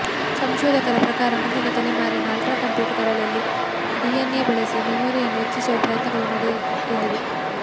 ಸಂಶೋಧಕರ ಪ್ರಕಾರ ಮುಂದಿನ ತಲೆಮಾರಿನ ಆಲ್ಟ್ರಾ ಕಂಪ್ಯೂಟರ್ಗಳಲ್ಲಿ ಡಿಎನ್ಎ ಬಳಸಿ ಮೆಮೊರಿಯನ್ನು ಹೆಚ್ಚಿಸುವ ಪ್ರಯತ್ನಗಳು ನಡೆಯಲಿವೆ